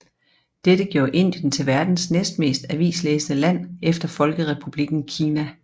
Dette gjorde Indien til verdens næst mest avislæsende land efter Folkerepublikken Kina